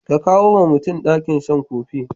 Ka kawuwa mutumin ɗakin can kofi.